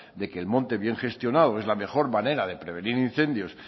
de que el monte bien gestionado es la mejor manera de prevenir incendios